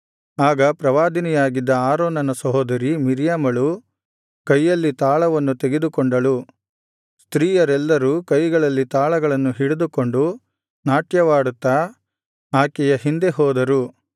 ಆಗ ಪ್ರವಾದಿನಿಯಾಗಿದ್ದ ಆರೋನನ ಸಹೋದರಿ ಮಿರ್ಯಾಮಳು ಕೈಯಲ್ಲಿ ತಾಳವನ್ನು ತೆಗೆದುಕೊಂಡಳು ಸ್ತ್ರೀಯರೆಲ್ಲರೂ ಕೈಗಳಲ್ಲಿ ತಾಳಗಳನ್ನು ಹಿಡಿದುಕೊಂಡು ನಾಟ್ಯವಾಡುತ್ತಾ ಆಕೆಯ ಹಿಂದೆ ಹೋದರು